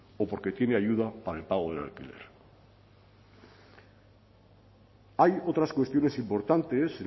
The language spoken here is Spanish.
o porque tiene ayuda para el pago del alquiler hay otras cuestiones importantes